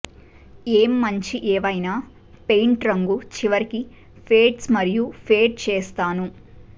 ఏం మంచి ఏవైనా పెయింట్ రంగు చివరికి ఫేడ్స్ మరియు ఫేడ్ చేస్తాను